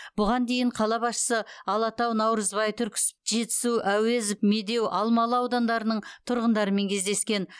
бұған дейін қала басшысы алатау наурызбай түрксіб жетісу әуезов медеу алмалы аудандарының тұрғындарымен кездескен